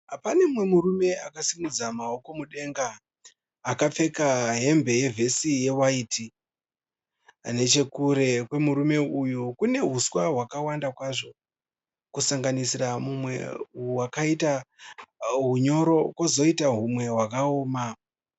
Pane mumwe murume akasimudza maoko mudenga. Akapfeka hembe yevhesi yewaiti. Nechekure kwemurume uyu kune huswa hwakawanda kwazvo kusanganisira humwe hwakaita hunyoro kozoita humwe hwakaoma.